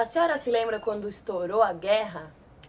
A senhora se lembra quando estourou a guerra?